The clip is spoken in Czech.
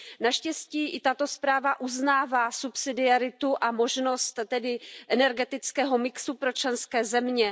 Naštěstí i tato zpráva uznává subsidiaritu a možnost tedy energetického mixu pro členské země.